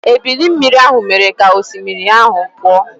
Ebili mmiri mere ka osimiri ahụ pụọ.